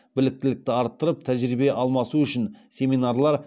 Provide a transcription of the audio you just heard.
біліктілікті арттырып тәжірибе алмасу үшін семинарлар